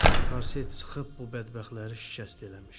Korset sıxıb bu bədbəxtləri şikəst eləmişdi.